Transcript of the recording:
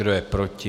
Kdo je proti?